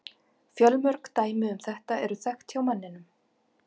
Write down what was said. Fjölmörg dæmi um þetta eru þekkt hjá manninum.